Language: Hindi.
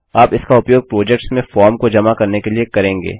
आप इसका उपयोग प्रोजेक्ट्स में फॉर्म को जमा करने के लिए करेंगे